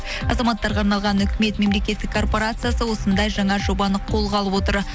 азаматтарға арналған үкімет мемлекеттік корпорациясы осындай жаңа жобаны қолға алып отыр